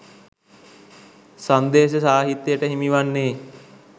සංදේශ සාහිත්‍යට හිමිවන්නේ